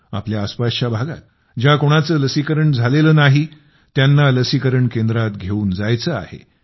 आपल्या आसपासच्या भागात ज्या कोणाचे लसीकरण झालेले नाही त्यांना लसीकरण केंद्रात घेऊन जायचे आहे